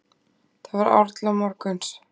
Það var árla morguns.